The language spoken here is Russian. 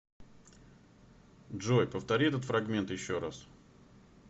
джой повтори этот фрагмент еще раз